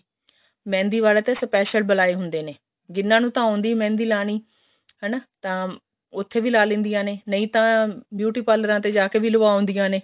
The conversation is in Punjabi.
ਮਹਿੰਦੀ ਵਾਲੇ ਤਾਂ special ਬੁਲਾਏ ਹੁੰਦੇ ਨੇ ਜਿਹਨਾ ਨੂੰ ਤਾਂ ਆਉੰਦੀ ਮਹਿੰਦੀ ਲਾਉਣੀ ਹਨਾ ਤਾਂ ਉੱਥੇ ਵੀ ਲਾ ਲੈਂਦੀਆਂ ਨੇ ਨਹੀਂ ਤਾਂ beauty parlor ਤੇ ਜਾ ਕੇ ਵੀ ਲਗਾ ਲੈਂਦੀਆਂ ਨੇ